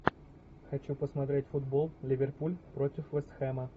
хочу посмотреть футбол ливерпуль против вест хэма